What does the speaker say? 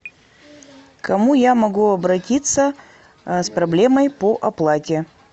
к кому я могу обратиться с проблемой по оплате